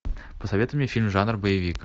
посоветуй мне фильм жанр боевик